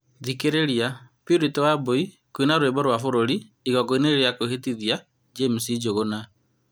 Thikĩrĩria , Purity Wambui kũina rwĩmbo rwa kĩbũrũri igongona-inĩ rĩa kwĩhĩtithia James Njuguna